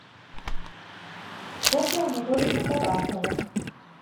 софья анатольевна тарасова